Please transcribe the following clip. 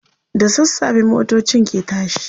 da sassafe motocin ke tashi